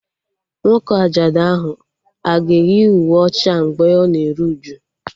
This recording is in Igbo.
Nwoke ajadu ahụ a ga-eyi uwe ọcha mgbe ọ na-eru uju?